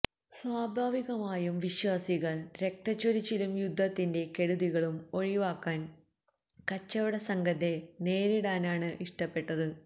സ്വാഭാവികമായും വിശ്വാസികള് രക്തച്ചൊരിച്ചിലും യുദ്ധത്തിന്റെ കെടുതികളും ഒഴിവാക്കാന് കച്ചവട സംഘത്തെ നേരിടാനാണ് ഇഷ്ടപ്പെട്ടത്